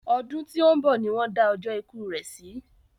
Ọdún tí òún bọ̀ ni won da ọjọ́ ikú rè si